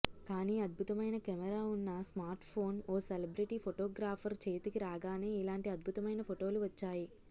కానీ అద్భుతమైన కెమెరా ఉన్న స్మార్ట్ఫోన్ ఓ సెలబ్రిటీ ఫోటోగ్రాఫర్ చేతికి రాగానే ఇలాంటి అద్భుతమైన ఫోటోలు వచ్చాయి